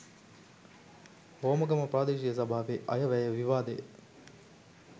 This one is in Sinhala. හෝමාගම ප්‍රාදේශීය සභාවේ අයවැය විවාදය